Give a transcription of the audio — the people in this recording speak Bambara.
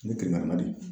N ye kelen di